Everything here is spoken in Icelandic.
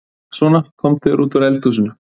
Svona, komdu þér út úr eldhúsinu.